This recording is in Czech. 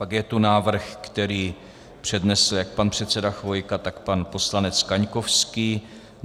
Pak je tu návrh, který přednesl jak pan předseda Chvojka, tak pan poslanec Kaňkovský.